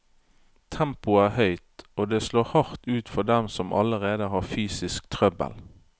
Tempoet er høyt, og det slår hardt ut for dem som allerede har fysisk trøbbel.